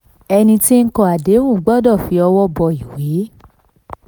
32. ẹni tí kọ àdéhùn gbọ́dọ̀ fi ọwọ́ bọ́ ìwé.